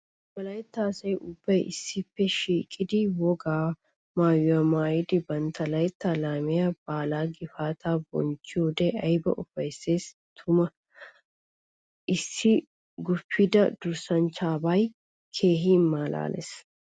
Wolaytta asay ubbay issippe shiiqiddi wogaa maayuwa maayiddi bantta laytta laamiya baalla gifatta bonchchiyode aybba ufayssi tuma! Issi guppidda durssanchchabbay keehi malaales.